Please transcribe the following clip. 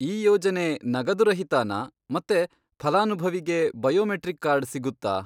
ಈ ಯೋಜನೆ ನಗದುರಹಿತಾನಾ, ಮತ್ತೆ ಫಲಾನುಭವಿಗೆ ಬಯೋಮೆಟ್ರಿಕ್ ಕಾರ್ಡ್ ಸಿಗುತ್ತಾ?